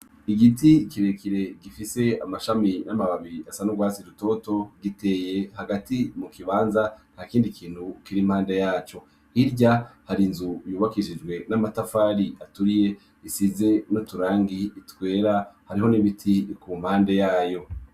Igiti ikirekire gifise amashami n'amababiri asa nurwasi rutoto giteye hagati mu kibanza nta kindi kintu kiri mpande yaco hirya hari nzu yubakirizwe n'amatafari aturiye isize no turangi itwera hariho n'ibiti iku mpande yayo.